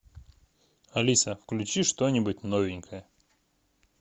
алиса включи что нибудь новенькое